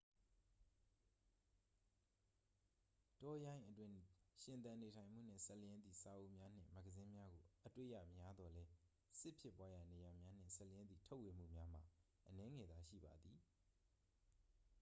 တောရိုင်းအတွင်း ရှင်သန်နေထိုင်မှုနှင့် စပ်လျဉ်းသည့် စာအုပ်များနှင့် မဂ္ဂဇင်းများကို အတွေ့ရများသော်လည်း စစ်ဖြစ်ပွားရာနေရာများနှင့် စပ်လျဉ်းသည့် ထုတ်ဝေမှုများမှာ အနည်းငယ်သာရှိပါသည်